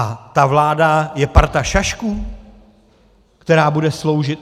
A ta vláda je parta šašků, která bude sloužit?